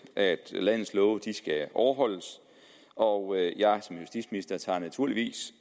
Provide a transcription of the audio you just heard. at landets love skal overholdes og at jeg som justitsminister naturligvis